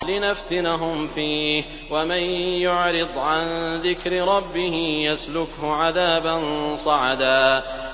لِّنَفْتِنَهُمْ فِيهِ ۚ وَمَن يُعْرِضْ عَن ذِكْرِ رَبِّهِ يَسْلُكْهُ عَذَابًا صَعَدًا